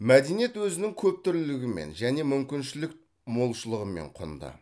мәдениет өзінің көптүрлілігімен және мүмкіншілік молшылығымен құнды